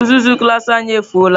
Uzuzu klas anyị efụo la.